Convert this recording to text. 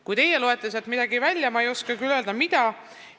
Kui teie loete sealt midagi muud välja, siis ma ei oska küll öelda, mida.